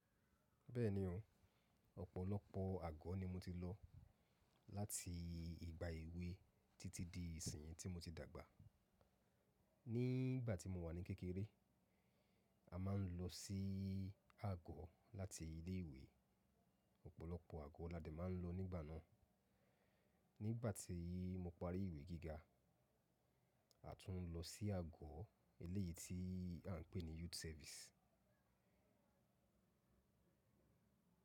Bẹ́ẹ̀ni o, ọ̀pọ̀lọpọ̀ àgọ́ ni mo ti lọ láti ìgbà èwe títí di ìsinyìí tí mo ti dàgbà. Ní ìgbà tí mo wà ní kékeré, a máa ń lọ sí àgọ́ láti ilé ìwé. Ọ̀pọ̀lọpọ̀ àgọ́ aládé mà ń lọ nígbà náà. Nígbà tí mo parí ìwé gíga, a tún ń lọ sí àgọ́ eléyìí tí à ń pè ní youth service.